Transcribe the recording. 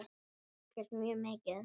Og ekkert mjög mikið.